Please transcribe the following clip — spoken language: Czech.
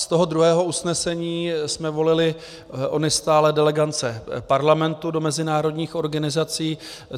Z toho druhého usnesení jsme volili ony stálé delegace Parlamentu do mezinárodních organizací.